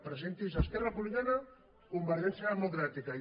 presentin se esquerra republicana convergència democràtica i